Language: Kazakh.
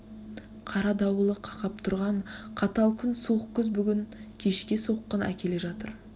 қара дауылы қақап тұрған қатал күн суық күз бүгін кешке соққын әкеле жатыр